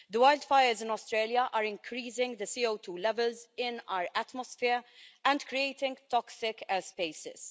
The wildfires in Australia are increasing the CO2 levels in our atmosphere and creating toxic airspaces.